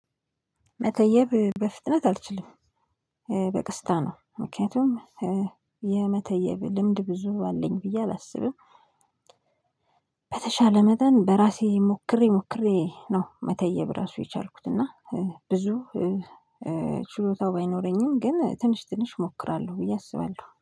መተየብ በፍጥነት አልችልም። በቅስታ ነው። ምክንያቱም የመተየብ ልምድ ብዙ አለኝ ብዬ አላስብም በተሻለ መጠን በራሴ ሞክሬ ሞክሬ ነው መተየብ ራሱ የቻልኩት እና ብዙ ችሎታው ባይኖረኝም ግን ትንሽ ትንሽ እሞክራለሁ ብዬ አስባለሁ